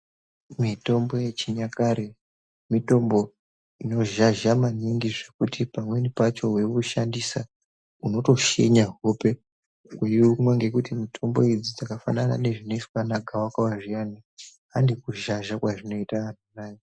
Mitombo yechinyakare mitombo inozhazha maningi zvekuti pamweni pacho weiushandisa unotoshinya hope uyiumwa ngekuti mitombo idzi dzakafanana nezvinoiswa vanagawakawa zviyani, handi kuzhazha kwazvinoita aa!